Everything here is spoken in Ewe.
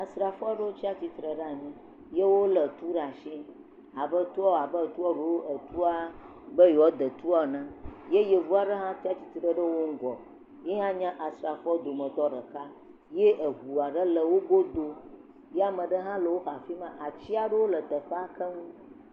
Asrafo aɖewo tsi atsire ɖe anyi, yewo lé tu ɖa shi abe tuɔ abe tuɔ ɖo etua be yioa da tuɔ ene ye yevu aɖe hã tsi atsitre ɖe wo ŋgɔ, yehã nye asrafowo dometɔ ɖeka, ye eŋua ɖe le wo godo, ya meɖe hã le woxa afi ma, atsi aɖewo le teƒa keŋ.